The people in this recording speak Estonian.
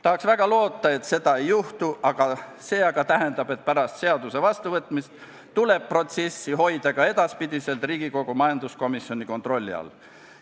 Tahaks väga loota, et seda ei juhtu, see aga tähendab, et pärast seaduse vastuvõtmist tuleb protsessi hoida ka edaspidi Riigikogu majanduskomisjoni kontrolli all.